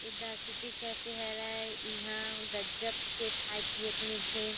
A the city cafe हरय ईहा गजज़्ब के खाए पिए के मिल थे।